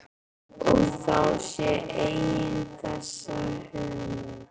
Og þá sér enginn þessa hörmung.